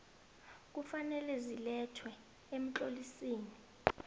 kufanele zilethwe emtlolisini